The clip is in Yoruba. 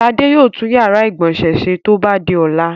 Ṣadé yóò tún ìyàrá-ìgbọ̀nsẹ̀ ṣe tó bá di ọ̀la.